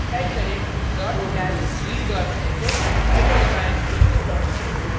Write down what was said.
type करें dot slash readsh enter दबाएं